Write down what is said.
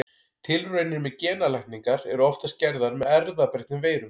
Tilraunir með genalækningar eru oftast gerðar með erfðabreyttum veirum.